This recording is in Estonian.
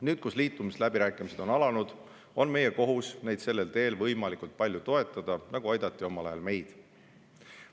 Nüüd, kui liitumisläbirääkimised on alanud, on meie kohus neid sellel teel võimalikult palju toetada, nagu aidati omal ajal meid.